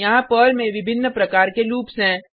यहाँ पर्ल में विभिन्न प्रकार के लूप्स हैं